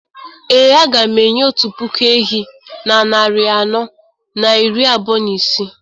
Ee, a ga m enye otu puku ehi na narị anọ na iri abụọ na ise